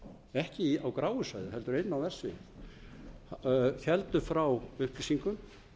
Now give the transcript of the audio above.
ekki á gráu svæði heldur inn á verksviðið héldu frá upplýsingum